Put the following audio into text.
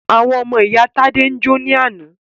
Àwọn ọmọ ìyá Tádé jó ní àná.